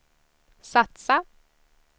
satsa